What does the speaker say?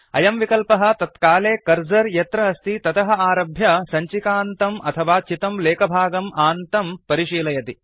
अयं विकल्पः तत्काले कर्सर यत्र अस्ति ततः आरभ्य सञ्चिकान्तम् अथवा चितं लेखभागम् आन्तं परिशीलयति